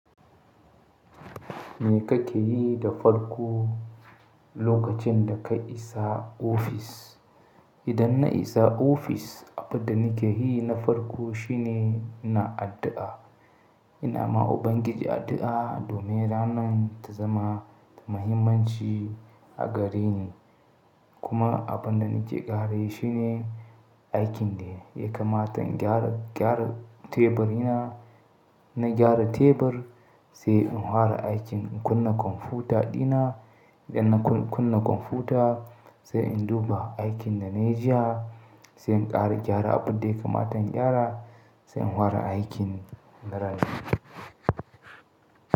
Me kake yi da farko lokacin da ka isa ofis? Idan na isa ofis, abin da nake yi na farko shine na addu'a. Ina ma Ubangiji addu'a domin ranan ta zama da muhimmanci a gare ni. Kuma abin da nake ƙara yi shine aikin da ya kamata in gyara tebur ina. Na gyara tebur, sai in fara aikin inkunna kwamfuta dina. Idan na kunna kwamfuta, sai in duba aikin da na yi jiya, sai in ƙara gyara abin da ya kamata in gyara, sai in fara aikin na ranan.